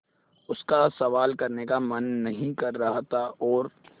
उसका सवाल करने का मन नहीं कर रहा था और